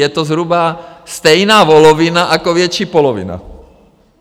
Je to zhruba stejná volovina jako větší polovina.